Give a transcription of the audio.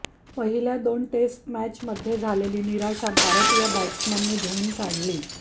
पहिल्या दोन टेस्ट मॅचमध्ये झालेली निराशा भारतीय बॅट्समननी धुऊन काढली